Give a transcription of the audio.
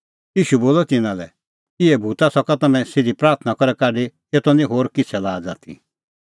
ईशू बोलअ तिन्नां लै इहै भूता सका तम्हैं सिधी प्राथणां करै काढी एतो निं होर किछ़ै लाज़ आथी